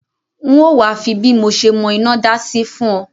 N o wa fi bí mo se mọ́ inádá sí fùn o